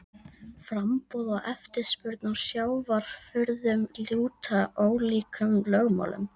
Framboð og eftirspurn á sjávarafurðum lúta ólíkum lögmálum.